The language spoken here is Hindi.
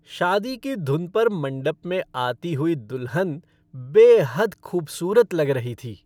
शादी की धुन पर मंडप में आती हुई दुल्हन बेहद खूबसूरत लग रही थी।